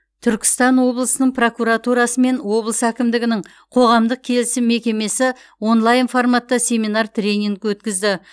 түркістан облысының прокуратурасы мен облыс әкімдігінің қоғамдық келісім мекемесі онлайн форматта семинар тренинг өткізді